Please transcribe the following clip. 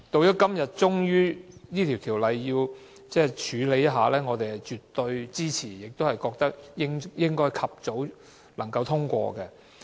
今天我們終於處理這項《條例草案》，我們絕對支持，亦覺得應該及早通過。